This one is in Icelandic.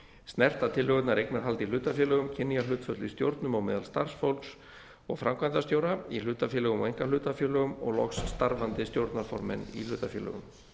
snerta tillögurnar eignarhald í hlutafélögum kynjahlutföll í stjórnum og meðal starfsfólks og framkvæmdastjóra í hlutafélögum og einkahlutafélögum og loks starfandi stjórnarformenn í hlutafélögum